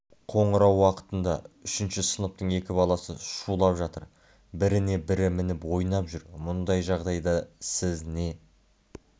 қоңырау уақытында үшінші сыныптың екі баласы шулап жатыр біріне-бірі мініп ойнап жүр мұндай жағдайда сіз не